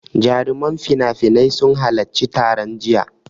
Jaruman finafinai sun halaccin taron jiya.